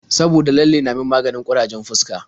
Saboda lalle na min maganin ƙurajen fuska.